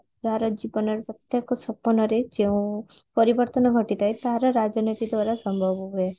ତାର ଜୀବନ ରେ ପ୍ରତ୍ୟକ ସୋପାନ ରେ ଯେଉଁ ପରିବର୍ତନ ଘଟିଥାଏ ତାର ରାଜନୀତି ଦ୍ଵାରା ସମ୍ଭବ ହୁଏ